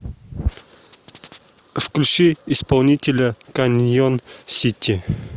включи исполнителя каньон сити